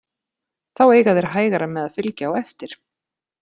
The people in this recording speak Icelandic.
Þá eiga þeir hægara með að fylgja á eftir.